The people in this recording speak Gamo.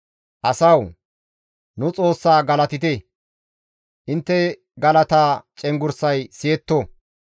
Asawu! Nu Xoossa galatite; intte galata cenggurssay siyetto.